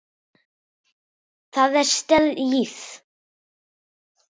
Það er stríð!